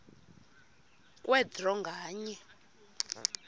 kwe draw nganye